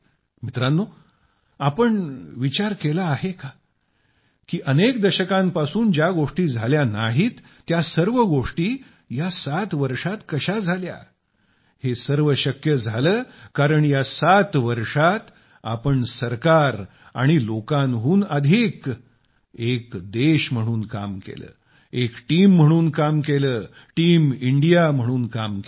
मित्रांनो तुम्ही विचार केला आहे का की अनेक दशकांपासून ज्या गोष्टी झाल्या नाहीत त्या सर्व गोष्टी या 7 वर्षात कशा झाल्या हे सर्व शक्य झाले कारण या 7 वर्षात आम्ही सरकार आणि लोकांहून अधिक एक देश म्हणून काम केले एक टीम म्हणून काम केले टीम इंडिया म्हणून काम केले